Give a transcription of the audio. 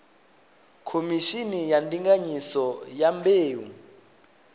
khomishini ya ndinganyiso ya mbeu